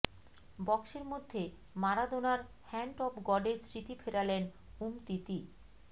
বক্সের মধ্যে মারাদোনার হ্যান্ড অব গডের স্মৃতি ফেরালেন উমতিতি